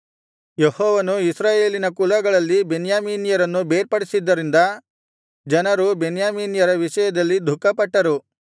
ಯೆಹೋವನು ಇಸ್ರಾಯೇಲಿನ ಕುಲಗಳಲ್ಲಿ ಬೆನ್ಯಾಮೀನರನ್ನು ಬೇರ್ಪಡಿಸಿದ್ದರಿಂದ ಜನರು ಬೆನ್ಯಾಮೀನ್ಯರ ವಿಷಯದಲ್ಲಿ ದುಃಖಪಟ್ಟರು